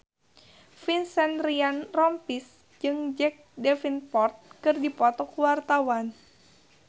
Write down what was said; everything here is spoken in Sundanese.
Vincent Ryan Rompies jeung Jack Davenport keur dipoto ku wartawan